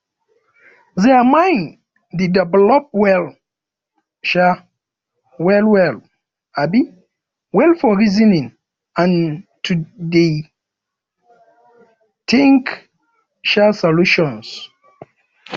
their mind de develop well um well well um well for reasoning and to de um think um solutions